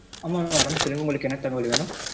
ஆமா madam சொல்லுங்க உங்களுக்கு என்ன தகவல் வேணும்?